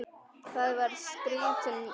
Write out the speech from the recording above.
Það var skrýtin nótt.